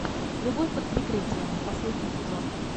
любовь под прикрытием последний сезон